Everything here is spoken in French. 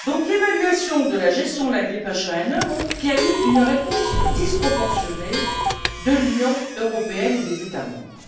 L'évaluation de la gestion de la grippe H1N1 montre qu'il y a eu une réponse disproportionnée de l'Union européenne et des États membres.